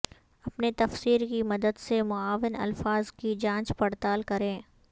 اپنے تفسیر کی مدد سے معاون الفاظ کی جانچ پڑتال کریں